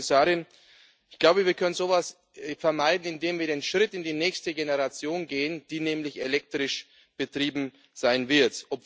Frau Kommissarin, ich glaube, wir können so etwas vermeiden, indem wir den Schritt in die nächste Generation gehen, die nämlich elektrisch betrieben sein wird.